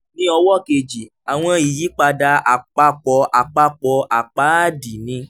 ní ọwọ́ kejì àwọn ìyípadà àpapọ̀ àpapọ̀ àpáàdì ni